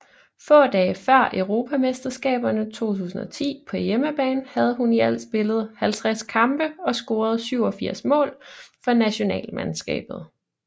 Få dage før Europamesterskaberne 2010 på hjemmebane havde hun i alt spillet 50 kampe og scoret 87 mål for nationalmandskabet